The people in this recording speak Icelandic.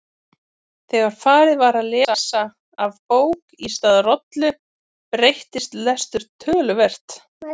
Þegar farið var að lesa af bók í stað rollu breyttist lestur töluvert.